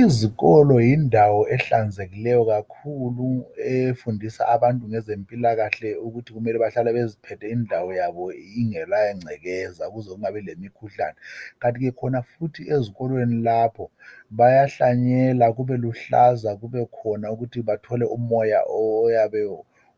Izikolo yindawo ehlanzekileyo kakhulu efundisa abantu ngezempilakahle ukuthi kumele behlale bephethe indawo yabo ingela ngcekeza ukuze kungabi lemikhuhlane kanti ke khona futhi ezikolweni lapho bayahlanyela kube luhlaza kubekhona ukuthi bathole umoya